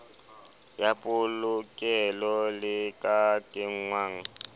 ya polokelo le ka kenngwang